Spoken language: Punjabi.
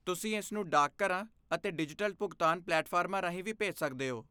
ਤੁਸੀਂ ਇਸਨੂੰ ਡਾਕਘਰਾਂ ਅਤੇ ਡਿਜੀਟਲ ਭੁਗਤਾਨ ਪਲੇਟਫਾਰਮਾਂ ਰਾਹੀਂ ਵੀ ਭੇਜ ਸਕਦੇ ਹੋ।